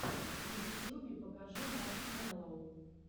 на ютьюбе покажи маршмелло